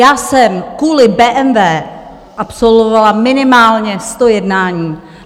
Já jsem kvůli BMW absolvovala minimálně sto jednání.